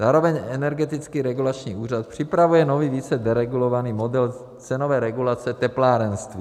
Zároveň Energetický regulační úřad připravuje nový, více deregulovaný model cenové regulace teplárenství.